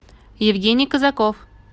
евгений казаков